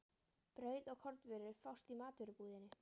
Brauð og kornvörur fást í matvörubúðinni.